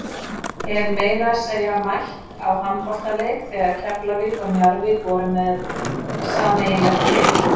Hef meira segja mætt á handboltaleik þegar Keflavík og Njarðvík voru með sameiginlegt lið.